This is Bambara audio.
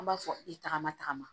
An b'a fɔ i tagama tagama